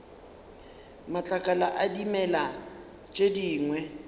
matlakala a dimela tše dingwe